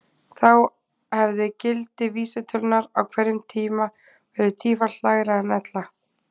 Þá hefði gildi vísitölunnar á hverjum tíma verið tífalt lægra en ella.